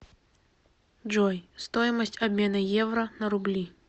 джой стоимость обмена евро на рубли